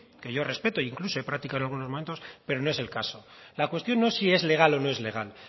que yo respeto e incluso he practicado en algunos momentos pero no es el caso la cuestión no es si es legal o no es legal